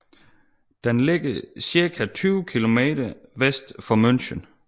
Den ligger cirka 20 kilometer vest for München